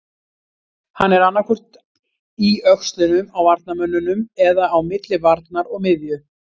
Hann er annaðhvort í öxlunum á varnarmönnunum eða á milli varnar og miðju.